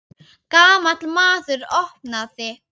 Gamall maður opnaði.